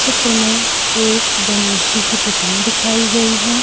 चित्र में एक गणेश जी की प्रतिमा दिखाई गई है ।